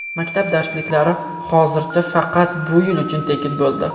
Maktab darsliklari hozircha faqat bu yil uchun tekin bo‘ldi.